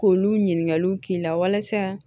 K'olu ɲininkaliw k'i la walasa